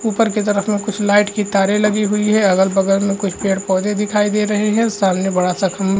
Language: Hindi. ऊपर की तरफ मे कुछ लाइट की तारे लगी हुई है अगल-बगल मे कुछ पेड़-पौधे दिखाई दे रहे है सामने बड़ा सा खम्भा --